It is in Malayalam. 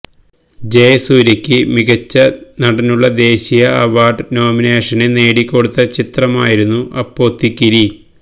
ജസൂര്യയ്ക്ക് മികച്ച നടനുള്ള ദേശീയ അവര്ഡ് നോമിനേഷന് നേടി കൊടുത്ത ചിത്രമായിരുന്നു അപ്പോത്തിക്കിരി